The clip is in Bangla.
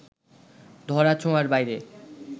ধরাছোঁয়ার বাইরের